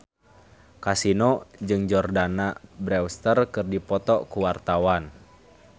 Kasino jeung Jordana Brewster keur dipoto ku wartawan